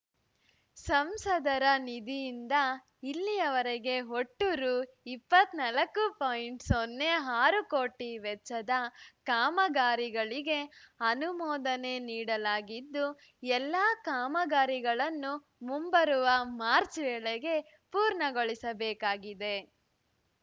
ಸಂಸದರ ನಿಧಿಯಿಂದ ಇಲ್ಲಿಯವರೆಗೆ ಒಟ್ಟು ರು ಇಪ್ಪತ್ತ್ ನಾಲ್ಕು ಪಾಯಿಂಟ್ ಸೊನ್ನೆ ಆರು ಕೋಟಿ ವೆಚ್ಚದ ಕಾಮಗಾರಿಗಳಿಗೆ ಅನುಮೋದನೆ ನಿಡಲಾಗಿದ್ದು ಎಲ್ಲಾ ಕಾಮಗಾರಿಗಳನ್ನು ಮುಂಬರುವ ಮಾರ್ಚ್ ವೇಳೆಗೆ ಪೂರ್ಣಗೊಳಿಸಬೇಕಾಗಿದೆ